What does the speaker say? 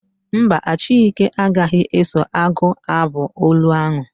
Mba, Achike agaghị eso agụ abụ olu ahụ.